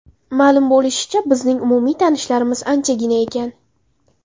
Ma’lum bo‘lishicha, bizning umumiy tanishlarimiz anchagina ekan.